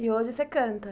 E hoje você canta?